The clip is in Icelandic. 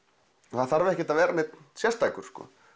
það þarf ekki að vera einhver sérstakur